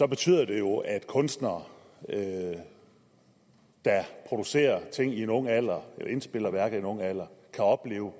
betyder det jo at kunstnere der producerer ting i en ung alder eller indspiller værker i en ung alder kan opleve